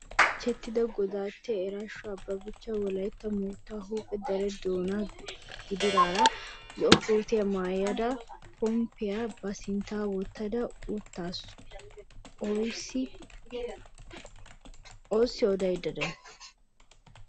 Bonchchettida godattiya Iraasho Abebecha Wolaytta moottaa huuphe dere doonan gididaara zo'o kootiya maayada pompaa ba sinttan wottada uttaasu. A oosii odayidda day?